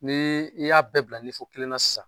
Ni i y'a bɛɛ bila kelen na sisan.